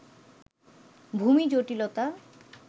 ভূমি জটিলতা